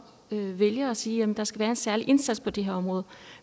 vælger ar sige at der skal være en særlig indsats på det her område